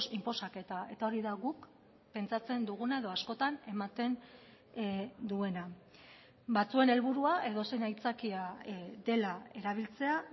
inposaketa eta hori da guk pentsatzen duguna edo askotan ematen duena batzuen helburua edozein aitzakia dela erabiltzea